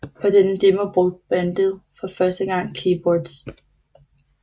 På denne demo brugte bandet for første gang keyboards